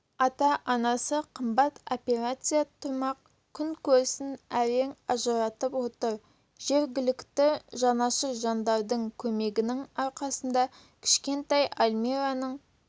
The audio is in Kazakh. ата-анасы қымбат операция тұрмақ күнкөрісін әрең ажыратып отыр жергілікті жанашыр жандардың көмегінің арқасында кішкентай альмираның